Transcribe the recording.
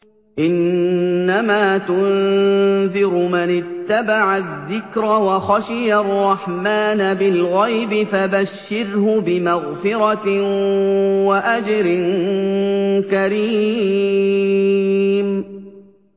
إِنَّمَا تُنذِرُ مَنِ اتَّبَعَ الذِّكْرَ وَخَشِيَ الرَّحْمَٰنَ بِالْغَيْبِ ۖ فَبَشِّرْهُ بِمَغْفِرَةٍ وَأَجْرٍ كَرِيمٍ